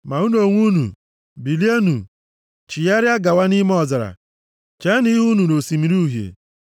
Ma unu onwe unu, bilienụ, chigharịa gawa nʼime ọzara. Cheenụ ihu unu nʼOsimiri Uhie.”